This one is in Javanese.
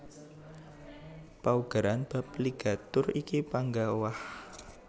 Paugeran bab ligatur iki panggah owah